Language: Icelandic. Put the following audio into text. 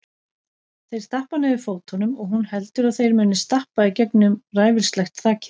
Þeir stappa niður fótunum og hún heldur að þeir muni stappa í gegnum ræfilslegt þakið.